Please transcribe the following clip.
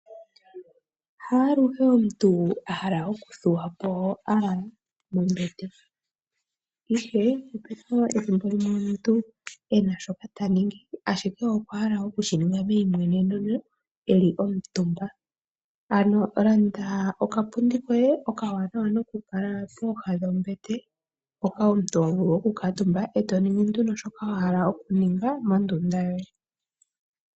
Ngele omuntu ena shoka taningi ashike okwahala okushiningi meyimweneneno ano oho landa okapundi koye koku kala keli pooha dhombete ,mpoka omuntu ho vulu oku kuutumba eto ningi nduno shoka wahala okuninga mondunda yoye